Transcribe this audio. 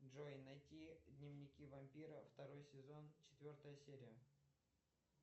джой найти дневники вампира второй сезон четвертая серия